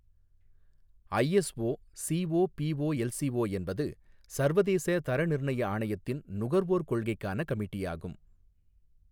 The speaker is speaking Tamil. ஐஎஸ்ஓ சிஓபிஓஎல்சிஓ என்பது சர்வதேச தர நிர்ணய ஆணையத்தின் நுகர்வோர் கொள்கைக்கான கமிட்டியாகும்.